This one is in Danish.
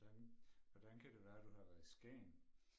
Hvordan hvordan kan det være du har været i Skagen?